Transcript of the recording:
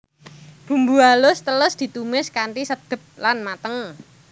Bumbu alus teles ditumis kanthi sedep lan mateng